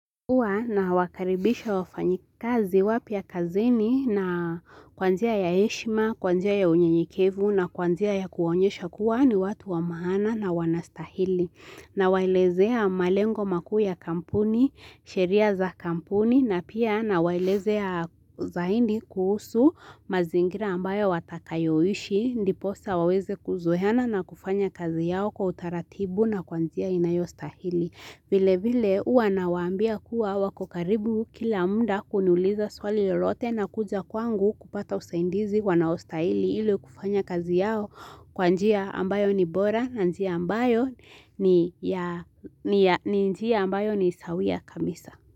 Huwa nawakaribisha wafanyikazi wapya kazini na kwa njia ya heshima, kwa njia ya unyeyikevu na kwa njia ya kuwaonyesha kuwa ni watu wa maana na wanastahili. Nawalezea malengo makuu ya kampuni, sheria za kampuni na pia nawalezea zaidi kuhusu mazingira ambayo watakayoishi, ndiposa waweze kuzoeana na kufanya kazi yao kwa utaratibu na kwa njia inayostahili. Vile vile uwa na wambia kuwa wako karibu kila muda kuniuliza swali lolote na kuja kwangu kupata usaidizi wanaostaili ilo kufanya kazi yao kwa njia ambayo ni bora na njia ambayo ni njia ambayo ni sawia kabisa.